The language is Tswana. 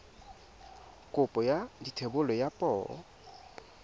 kopo ya thebolo ya poo